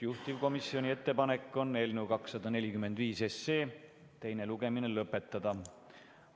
Juhtivkomisjoni ettepanek on eelnõu 245 teine lugemine lõpetada.